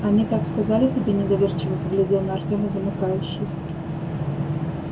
они так сказали тебе недоверчиво поглядел на артёма замыкающий